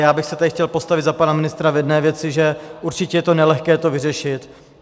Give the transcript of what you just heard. Já bych se tady chtěl postavit za pana ministra v jedné věci, že určitě je to nelehké to vyřešit.